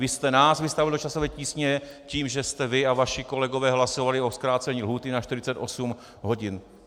Vy jste nás vystavil do časové tísně tím, že jste vy a vaši kolegové hlasovali o zkrácení lhůty na 48 hodin.